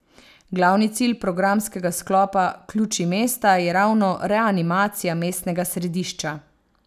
Glavni cilj programskega sklopa Ključi mesta je ravno reanimacija mestnega središča.